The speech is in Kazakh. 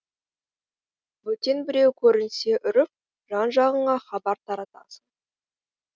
бөтен біреу көрінсе үріп жан жағыңа хабар таратасың